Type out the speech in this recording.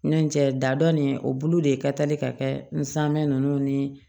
Ɲincɛ da dɔn nin o bulu de ye kali ka kɛ nsanmɛ ninnu ni